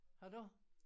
Har du?